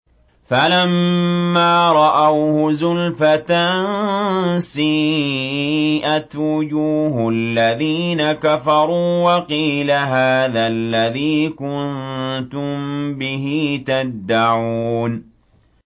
فَلَمَّا رَأَوْهُ زُلْفَةً سِيئَتْ وُجُوهُ الَّذِينَ كَفَرُوا وَقِيلَ هَٰذَا الَّذِي كُنتُم بِهِ تَدَّعُونَ